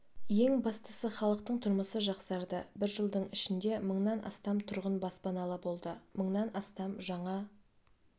ең бастысы халықтың тұрмысы жақсарды бір жылдың ішінде мыңнан астам тұрғын баспаналы болды мыңнан астам жаңа